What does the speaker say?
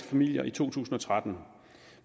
familier i to tusind og tretten